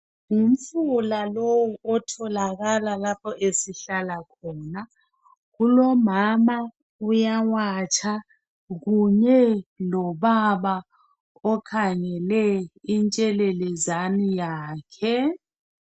Ngumfula lowu otholakala lapho esihlala khona kulomama uyawatsha kunye lobaba okhangele intshelelezane yakhe.